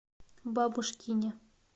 бабушкине